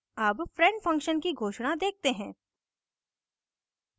अब friend function की घोषणा देखते हैं